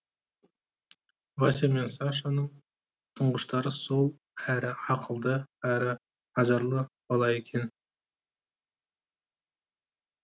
вася мен сашаның тұңғыштары сол әрі ақылды әрі ажарлы бала екен